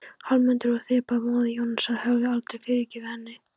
Hallmundur og Þeba, móðir Jónasar, hefðu aldrei fyrirgefið henni.